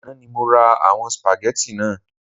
Àná ni mo ra àwon spaghetti naa